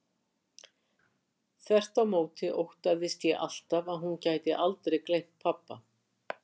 Þvert á móti óttaðist ég alltaf að hún gæti aldrei gleymt pabba.